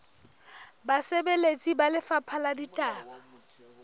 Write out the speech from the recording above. basebeletsi ba lefapha la ditaba